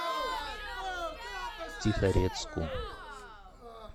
тихорецку